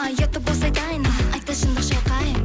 ұят та болса айтайын айтпас шындық шайқайын